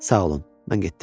Sağ olun, mən getdim.